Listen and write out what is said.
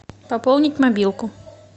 пополнить мобилку